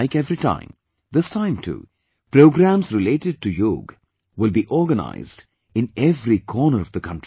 Like every time, this time too programs related to yoga will be organized in every corner of the country